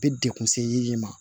Bɛ dekun se yiri ma